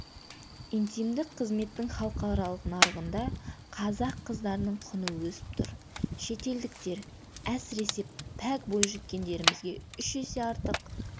интимдік қызметтің халықаралық нарығында қазақ қыздарының құны өсіп тұр шетелдіктер әсіресе пәк бойжеткендерімізге үш есе артық